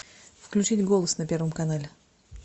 включить голос на первом канале